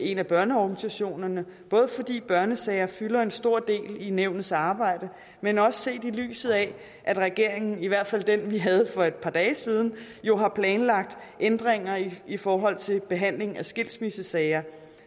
en af børneorganisationerne både fordi børnesager fylder en stor del i nævnets arbejde men også set i lyset af at regeringen i hvert fald den vi havde for et par dage siden jo har planlagt ændringer i forhold til behandling af skilsmissesager